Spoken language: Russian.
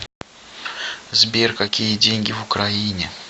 сбер какие деньги в украине